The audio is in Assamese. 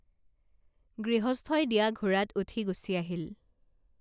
গৃহস্থই দিয়া ঘোঁৰাত উঠি গুচি আহিল